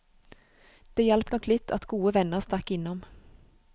Det hjalp nok litt at gode venner stakk innom.